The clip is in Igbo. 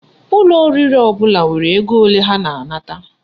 Ụlọ oriri ọbụla nwere ego ole ha na-anata